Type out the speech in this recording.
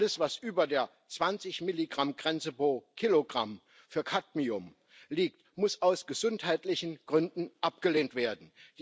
Alles was über der 20 mg Grenze pro Kilogramm für Cadmium liegt, muss aus gesundheitlichen Gründen abgelehnt werden.